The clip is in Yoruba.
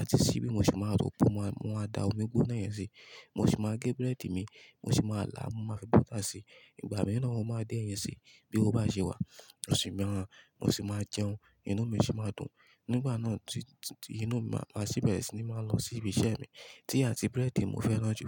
àti síbí mo sì máa ro pò, mo máa da omi gbóná yẹn sí, mo sì máa gé búrẹ́dì mi, mo sì máa là á, mo máa fi butter si i. Ìgbà mìíràn mo máa dín ẹ̀yin si i bí ówo bá ṣe wà. Mo si maa, mo sì máa jẹun, inú mi sì máa dùn. Nígbà náà tí, tí inú mi bá sì bẹ̀rẹ̀ sí ní máa lọ sí ibi iṣẹ́ mi. Tíì àti búrẹ́dì n mo fẹ́ràn jù.